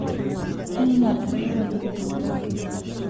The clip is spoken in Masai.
kiinyal ederoni itokitin